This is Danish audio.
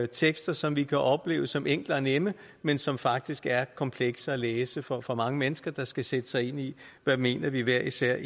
tekster som vi kan opleve som enkle og nemme men som faktisk er komplekse at læse for for mange mennesker der skal sætte sig ind i hvad vi egentlig hver især